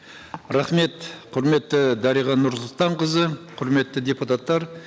рахмет құрметті дариға нұрсұлтанқызы құрметті депутаттар